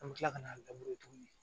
An bɛ kila ka n'a tuguni